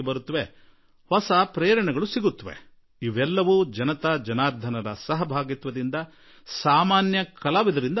ನೂತನ ಪ್ರೇರಣೆ ಲಭಿಸುತ್ತದೆ ಮತ್ತು ಇವೆಲ್ಲಾ ಜನತಾ ಜನಾರ್ಧನರ ಪಾಲುದಾರಿಕೆಯೊಡನೆ ಹಾಗೂ ಸಾಮಾನ್ಯ ಕಲಾವಿದರಿಂದ ಆಗುತ್ತದೆ